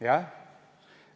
Jah?